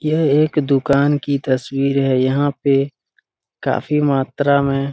यह एक दुकान की तस्वीर है यहाँ पे काफी मात्रा में --